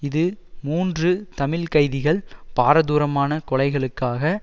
இது மூன்று தமிழ் கைதிகள் பாரதூரமான கொலைகளுக்காக